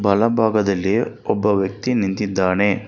ಬಲ ಭಾಗದಲ್ಲಿ ಒಬ್ಬ ವ್ಯಕ್ತಿ ನಿಂತಿದ್ದಾನೆ.